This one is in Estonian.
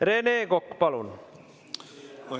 Rene Kokk, palun!